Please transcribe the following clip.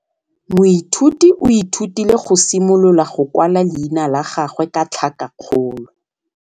Moithuti o ithutile go simolola go kwala leina la gagwe ka tlhakakgolo.